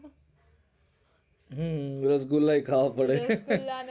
હમ રસગુલ્લા ય ખાવા પડે હે હે હ